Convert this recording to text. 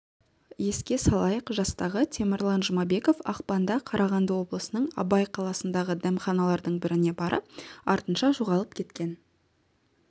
еске салайық жастағы темірлан жұмабеков ақпанда қарағанды облысының абай қаласындағы дәмханадардың біріне барып артынша жоғалып кеткен